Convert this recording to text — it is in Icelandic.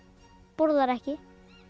borðar ekki